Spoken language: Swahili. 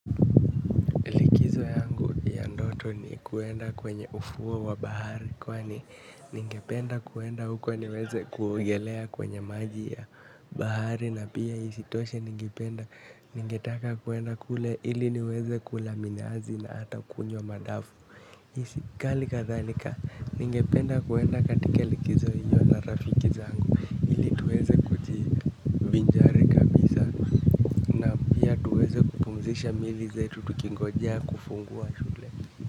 Likizo ya ndoto ni kwenda kwenye ufuo wa bahari kwani ningependa kwenda uko ili niweze kuogelea kwenye maji ya bahari na pia isitoshe ningetaka kwenda kule ili niweze kula minazi na hata kunywa madafu isi kali kadhalika ningependa kwenda katika likizo hiyo na rafiki zangu. Tuweze kujivinjari kabisa na pia tuweze kupumzisha mili zetu tukingojea kufungua shule.